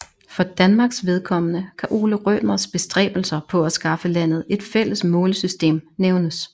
For Danmarks vedkommende kan Ole Rømers bestræbelser på at skaffe landet et fælles målesystem nævnes